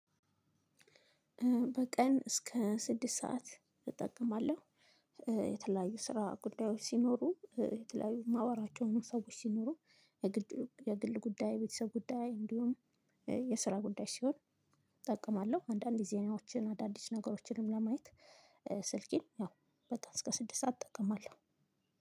በቀን እስከ ስድስት ሰዓት እጠቀማለው። የተለያዩ ስራ ጉዳዮች ሲኖሩ የተለያዩ ማወራቸው ሰዎች ሲኖሩ። የግል ጉዳይ ቤተሰብ ጉዳይ እንዲሆን የስራ ጉዳይ ሲሆን እጠቀማለሁ። አንዳንድ የዜናዎችን አዳዲስ ነገሮችንም ለማየት። ስልኬን ያው በቀን እስከ ስድስት ሰዓት እጠቀማለሁ።